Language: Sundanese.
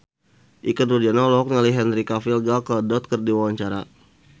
Ikke Nurjanah olohok ningali Henry Cavill Gal Gadot keur diwawancara